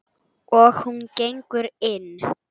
Og hún gengur inn.